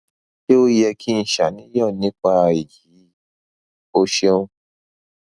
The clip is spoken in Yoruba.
ṣé ó yẹ kí n ṣàníyàn nípa èyí o ṣeun